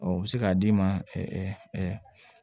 Ɔ u bɛ se k'a d'i ma